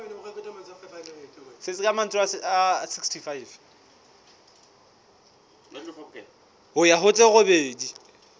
ho ya ho tse robedi